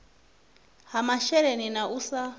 ha masheleni na u sa